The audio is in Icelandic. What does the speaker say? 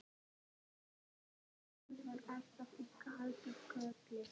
Fyrir sunnan var allt í kalda koli.